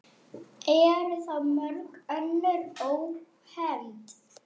Eru þá mörg önnur ónefnd.